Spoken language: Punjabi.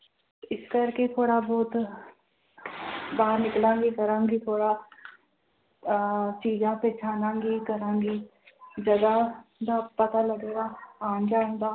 ਇਸ ਕਰਕੇ ਥੋੜ੍ਹਾ ਬਹੁਤ ਬਾਹਰ ਨਿਕਲਾਂਗੀ ਕਰਾਂਗੀ ਥੋੜ੍ਹਾ ਅਹ ਚੀਜ਼ਾਂ ਪਹਿਚਾਣਾਂਗੀ ਕਰਾਂਗੀ ਜਗਾ ਦਾ ਪਤਾ ਲੱਗੇਗਾ ਆਉਣ ਜਾਣ ਦਾ।